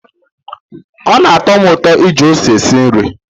Ọ na-atọ m ụtọ iji ose esi nri.